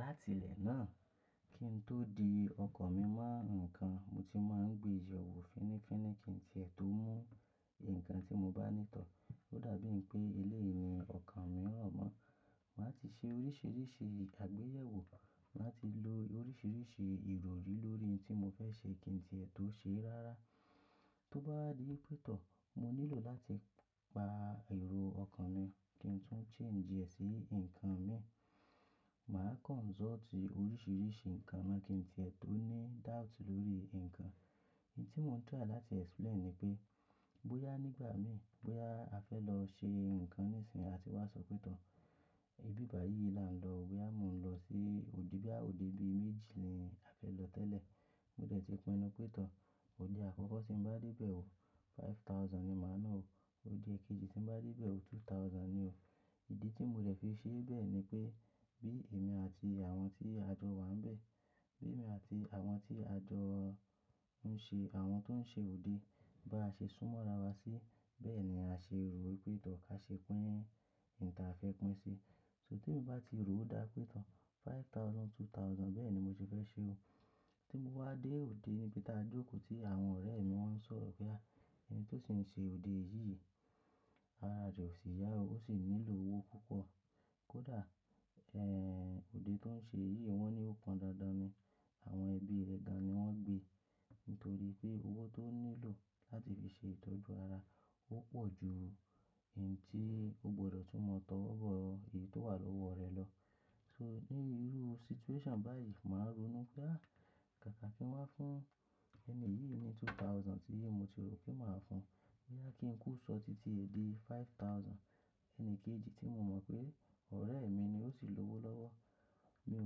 Láti ilẹ̀ náà kí n tó di ọkan mi mọ́ ǹkan, mo ti máa ń gbé yẹ̀wò fínífíní kí n tí ẹ tó mú ǹkan tí mo bá ní ìtọ́. Ó dàbí i pé eléyì ọkan mi rọ̀mọ́. Màá ti ṣe oríṣìíríṣìí àgbéyẹ̀wò, màá ti lo oríṣìíríṣìí ìròrí lórí òun tí mo fẹ́ ṣe kí n tí ẹ tó ṣe é rárá. Tó bá wá di wípé tọ́, mo nílò láti pa èrò ọkọ̀ mi kí n tún change ẹ̀ sí ǹkan mi. Màá consult oríṣìíríṣìí ǹkan ná kí n tí ẹ tó ní doubt lórí ǹkan. Òun tí mò ń try láti explain ni pé bóyá nígbà mi, bóyá a fẹ́ lọ ṣe ǹkan níìsín a tì wá sọ pé tọ́, ibi báyìí la ń lọ o bóyá mo ń lọ sí òde bóyá òde bí méjì ni a fẹ́ lọ tẹ́lẹ̀. Mo dẹ̀ ti pinnu pé tọ́, òde àkọ́kọ́ tí ń bá dé bẹ̀ o, five thousand ni màá ná o. Òde ẹ̀kejì tí ń bá dé bẹ̀ o, two thousand ni o. Ìdí tí mo dẹ̀ fi ṣe bẹ́ẹ̀ ni pé bí èmi àti àwọn tí àjọ wa ń bẹ̀, bí èmi àti àwọn tí àjọ ń ṣe, àwọn tó ń ṣe òde bá ṣe súnmọ́ ara wa sí, bẹ́ẹ̀ ni à ṣe rò ó pé tọ́ ká ṣe pín òun tí a fẹ́ pín ṣi. Tó tí èèyàn bá ti rò ó dá pé tọ́ five thousand, two thousand bẹ́ẹ̀ ni mo ṣe fẹ́ ṣe o. Tí mo wá dé òde níbi tí a jókòó tí àwọn ọ̀rẹ́ mi wọ́n ń sọ̀rọ̀ pé à, ẹni tó sì ń ṣe òde yìí, ara rẹ̀ ò sì yá o, ó sì nílò owó púpọ̀. Kódà, òde tó ń ṣe yìí wọ́n ní ó kpan dandan ni, àwọn ẹbí rẹ̀ gan ní wọ́n gbé nítorí pé owó tó nílò láti fi ṣe ìtọ́jú ara, ó pọ̀ ju ǹ tí ó gbọdọ̀ tún mọ tówó bọ́ ìyè tó wà lọ́wọ́ rẹ̀ lọ. So ní irú situation báyìí, màá rònú pé à, kàkà kí n wá fún ẹni yìí ni two thousand tí mo ti rò pé màá fún un. Bóyá kí n kú ṣọ́ọ̀tì tí è di five thousand, ẹni kejì tí mo mọ̀ pé ọ̀rẹ́ mi ni ó sì lówó lọ́wọ́. Mi ò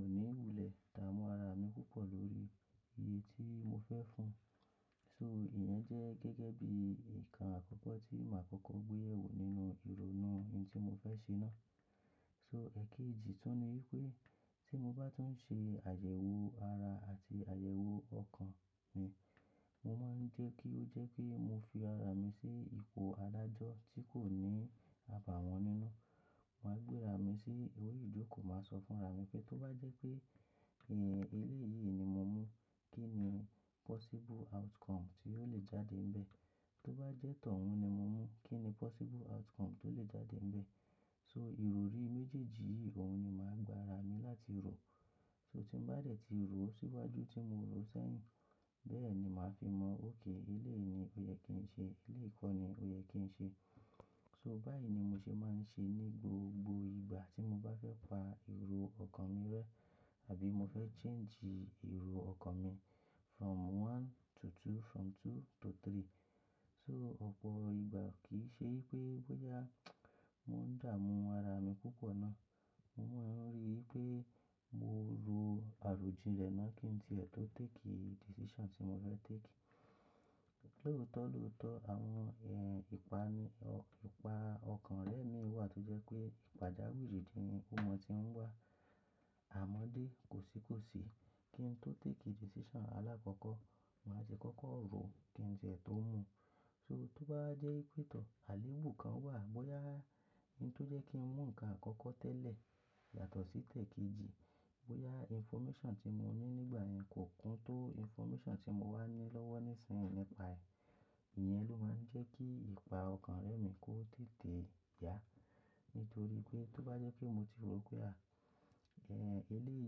ní wúlẹ̀ dààmú ara mi púpọ̀ lórí iye tí mo fẹ́ fún un. So ìyẹn jẹ́ gẹ́gẹ́ bí ǹkan àkọ́kọ́ tí màá kọ́kọ́ gbéyẹ̀wò nínú ìrònú ǹ tí mo fẹ́ ṣe náà. So ẹ̀ kejì tún ni wípé tí mo bá tún ń ṣe àyẹ̀wò ara àti àyẹ̀wò ọkan mi, mo máa ń jẹ́ kí ó jẹ́ pé mo fi ara mi sí ipò adájọ́ tí kò ní àbàwọ́n nínú. Màá gbé ara mi sí orí ìjókòó, màá sọ fún ara mi pé tó bá jẹ́ pé, eléèyìí ni mo mú, kí ni possible outcome tí ò lè jáde níbẹ̀? Tó bá jẹ́ tọ̀ún ni mo mú, kí ni possible outcome tó lè jáde níbẹ̀? So ìròrí méjèèjì yìí òun ni màá gba ara mi láti rò. So tí mo bá dẹ̀ ti rò ó síwájú tí mo rò ó sẹ́yìn, bẹ́ẹ̀ ni màá fi mọ̀ okay eléèyìí ni ó yẹ kí n ṣe, eléyì kọ́ ni ó yẹ kí n ṣe. So báyìí ni mo ṣe máa ń ṣe ní gbogbo ìgbà tí mo bá fẹ́ pa èrò ọkan mi rẹ́ àbí mo fẹ́ change èrò ọkan mi from one to two, from two to three. So ọ̀pọ̀ ìgbà kì í ṣe wípé bóyá mò ń dààmú ara mi púpọ̀ ná. Mo maa ń rí pé mo rò àròjinlẹ̀ náà kí n tí ẹ tó take decision tí mo fẹ́ take. Lótọ̀lótọ̀ àwọn, ìpa ọkàn rẹ mii wà tó jẹ́ pé pàjáwìrì ní ò ma tí ń wá. Àmọ́dé, kò sí kò sí kí n tó take decision alákọ́kọ́, màá tie kọ́kọ́ rò kí n tí ẹ tó mú. So tó báwa jẹ́ wípé tọ́, àléébù kan wà bóyá ǹ tí ó jẹ́ kí n mú ǹkan àkọ́kọ́ tẹ́lẹ̀ yàtọ̀ sí tẹ̀ kejì, bóyá information tí mo ní nígbà yẹn kò kún tó information tí mo wá ní lọ́wọ́ ní ìsìn yì nípa ẹ̀. Ìyẹn ló máa ń jẹ́ kí ìpa ọkàn rẹ mi kó tètè yá. Nítorí pé tó bá jẹ́ pé mo ti rò pé à, eléèyìí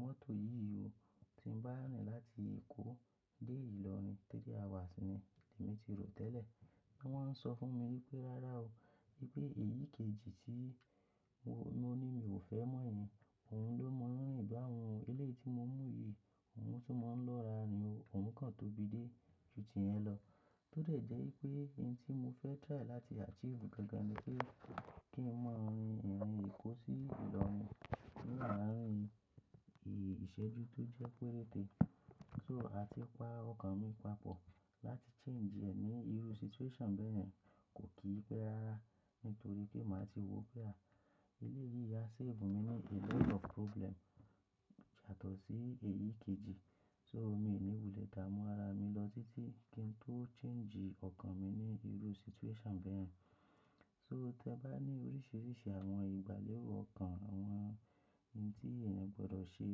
mọ́tò yìí o, tí ń bá rin láti Èkó dé Ìlọrin, three hours ni èmi ti rò tẹ́lẹ̀. Bí wọ́n ń sọ fún mi wípé rárá o, wípé èyí kejì tí mo ní mi ò fẹ́ mọ̀ yẹn, òun ló mọ̀ ń rìn báun o. Eléèyìí tí mo mú yìí, òun tún mọ̀ ń lọ́ra rin o, òun kan tóbi dé ju ti ìyẹn lọ. Tó dẹ̀ jẹ́ wípé ǹ tí mo fẹ́ try láti achieve gangan ni pé kí n maa rin ìrìn Èkó sí Ìlọrin, ní láàrín ìṣẹ́jú tó jẹ́ pé rète. So à ti pa ọkàn mi papọ̀ láti change ẹ̀ ní irú situation bẹ́yẹ̀n rẹ́, kò kí í pé rárá nítorí pé màá ti wò pé à, eléèyìí ya save mi ní a lot of problem yàtọ̀ sí èyí kejì. So mi ò ní ìwúlẹ̀ dààmú ara mi lọ títí kí n tó change ọkàn mi ní irú situation bẹ́ẹ̀ rẹ́. So tí a bá ní oríṣìíríṣìí àwọn ìgbàlẹ̀ro ọkàn, àwọn ǹ tí èèyàn gbọdọ̀ ṣe.